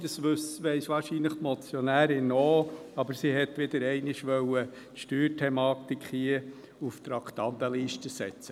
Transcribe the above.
Die Motionärin weiss das wahrscheinlich auch, aber sie wollte wieder einmal die Steuerthematik auf die Traktandenliste setzen.